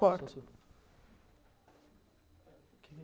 Corta.